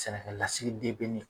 Sɛnɛkɛlasigiden bɛ min?